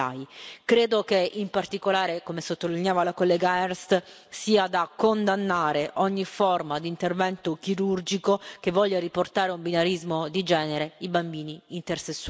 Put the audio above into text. Credo che, in particolare, come sottolineava la collega Ernst, sia da condannare ogni forma di intervento chirurgico che voglia riportare a un binarismo di genere i bambini intersessuali.